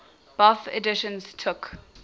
bofh editions took